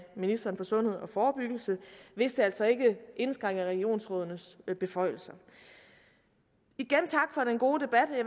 ministeren for sundhed og forebyggelse hvis det altså ikke indskrænker regionsrådenes beføjelser igen tak for den gode debat